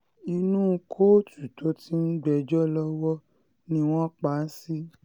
inú kóòtù tó ti ń gbẹ́jọ́ lọ́wọ́ ni wọ́n pa á sí